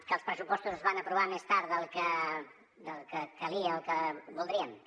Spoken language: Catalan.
que els pressupostos es van aprovar més tard del que calia i el que voldríem també